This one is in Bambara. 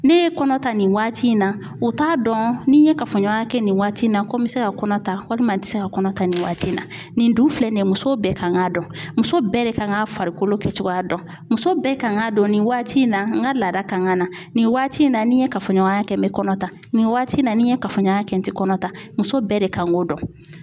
Ne ye kɔnɔ ta nin waati in na u t'a dɔn ni n ye kafoɲɔgɔnya kɛ nin waati in na ko n bɛ se ka kɔnɔ ta walima n tɛ se ka kɔnɔ ta nin waati in na nin dun filɛ nin ye muso bɛɛ kan k'a dɔn muso bɛɛ de kan ka farikolo kɛcogoya dɔn muso bɛɛ kan k'a dɔn nin waati in na n ka laada kan ka na nin waati in na ni n ye kafoɲɔgɔnya kɛ n bɛ kɔnɔ ta nin waati in na ni n ye kafoɲɔgɔnya kɛ n tɛ kɔnɔta muso bɛɛ de kan k'o dɔn.